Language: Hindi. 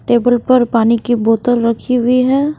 टेबल पर पानी की बोतल रखी हुई है।